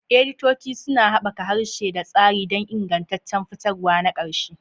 Editoci suna haɓaka harshe da tsari don ingantaccen fitarwa na ƙarshe.